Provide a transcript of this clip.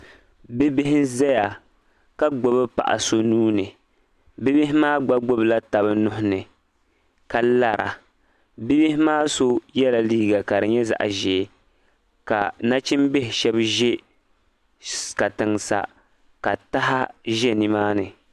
Bi bihi nzaya ka gbibi paɣa so nuu ni. Bi bihi maa gba gbibi la taba nuhi ni ka lara . Bi bihi maa so yɛla liiga ka di nyɛ zaɣa ʒee ka nachimbihi shɛba ʒe katiŋ sa ka taha ʒe ni maa ni